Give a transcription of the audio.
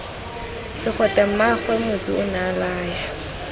segwete mmaagwe motsu onea laya